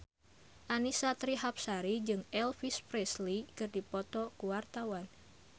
Annisa Trihapsari jeung Elvis Presley keur dipoto ku wartawan